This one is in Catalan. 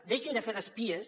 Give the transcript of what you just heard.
deixin de fer d’espies